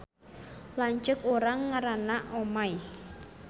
Lanceuk urang ngaranna Omay